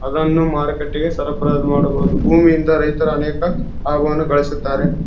ಅದನ್ನು ಮಾರುಕಟ್ಟೆಗೆ ಸರಬರಾಜು ಮಾಡಬಹುದು ಭೂಮಿಯಿಂದ ರೈತರು ಅನೇಕ ಆಹ್ವಾನ ಗಳಿಸುತ್ತಾರೆ .